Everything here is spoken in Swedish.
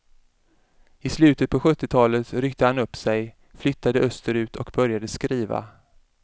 I slutet på sjuttiotalet ryckte han upp sig, flyttade österut och började skriva.